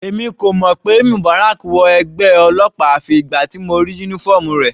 Èmi kò mọ̀ pé Mubarak wọ ẹgbẹ́ ọlọ́pàá àfi ìgbà tí mo rí uniform rẹ̀.